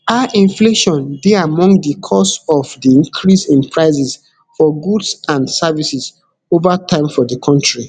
high inflation dey among di cause of di increase in prices for goods and services over time for di kontri